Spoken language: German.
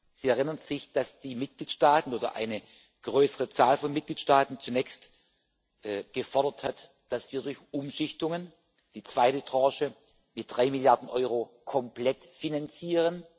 Sie erinnern sich, dass eine größere Zahl von Mitgliedstaaten zunächst gefordert hat, dass wir durch die Umschichtungen, die zweite Tranche mit drei Milliarden Euro komplett finanzieren.